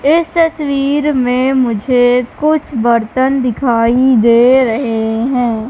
इस तस्वीर मे मुझे कुछ बर्तन दिखाई दे रहे है।